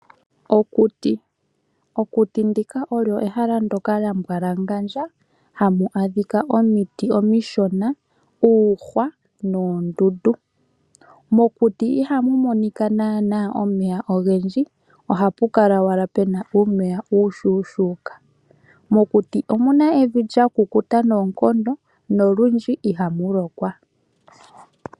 Okuti ndika olyo ehala ndyoka lya mbwalangandja hamu adhika omiti omishona ,uuhwa noondundu. Mokuti ihamu monika naana omeya ogendji, ohapu kala owala pena uumeya uushuushuuka. Mokuti omuna evi lya kukuta noonkondo nolundji iha mu lokwa.